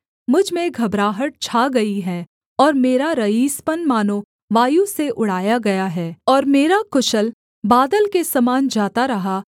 मुझ में घबराहट छा गई है और मेरा रईसपन मानो वायु से उड़ाया गया है और मेरा कुशल बादल के समान जाता रहा